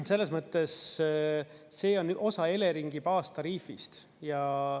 Selles mõttes see on osa Eleringi baastariifist.